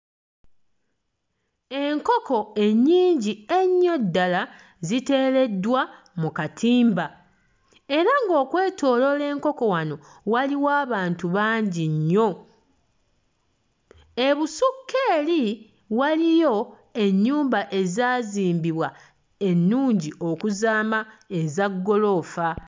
Enkoko ennyingi ennyo ddala ziteereddwa mu katimba era ng'okwetooloola enkoko wano waliwo abantu bangi nnyo. Ebusukka eri waliyo ennyumba ezaazimbibwa ennungi okuzaama eza ggoloofa.